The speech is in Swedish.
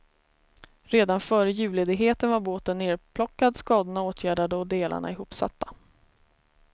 Redan före julledigheten var båten nerplockad, skadorna åtgärdade och delarna ihopsatta.